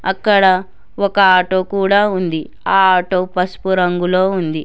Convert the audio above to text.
అక్కడ ఒక ఆటో కూడా ఉంది ఆ ఆటో పసుపు రంగులో ఉంది.